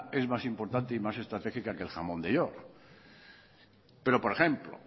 es más importante y más estratégica que el jamón de york pero por ejemplo